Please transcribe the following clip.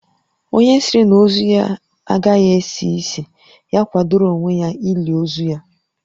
Onye sịrị na ozu ya agaghị esi ísì, ya kwadoro onwe ya ili ozu ya